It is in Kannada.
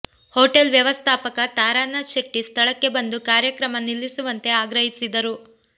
ಹೋಟೆಲ್ ವ್ಯವಸ್ಥಾಪಕ ತಾರಾನಾಥ ಶೆಟ್ಟಿ ಸ್ಥಳಕ್ಕೆ ಬಂದು ಕಾರ್ಯಕ್ರಮ ನಿಲ್ಲಿಸುವಂತೆ ಆಗ್ರಹಿಸಿದರು